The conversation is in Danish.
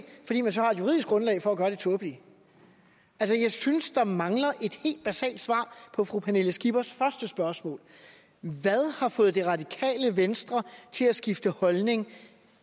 fordi der så er et juridisk grundlag for at gøre det tåbelige jeg synes der mangler et helt basalt svar på fru pernille skippers første spørgsmål hvad har fået radikale venstre til at skifte holdning